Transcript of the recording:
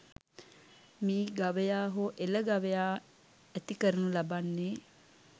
මී ගවයා හෝ එළ ගවයා ඇති කරණු ලබන්නේ